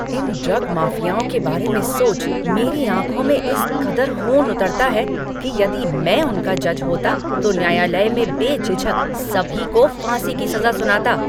इन drug माफियाओं के बारे में सोच मेरी आँखों में इस कदर ख़ून उतरता है कि यदि मैं उनका जज होता तो न्यायालय में बेझिझक सभी को फांसी की सजा सुनाता।